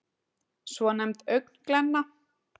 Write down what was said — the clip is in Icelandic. svonefnd augnglenna